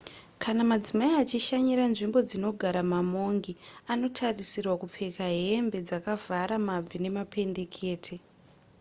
kana madzimai achishanyira nzvimbo dzinogara mamongi anotarisirwa kupfeka hembe dzakavhara mabvi nemapendekete